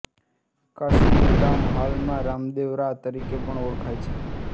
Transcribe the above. કાશ્મીર ગામ હાલમાં રામદેવરા તરીકે પણ ઓળખાય છે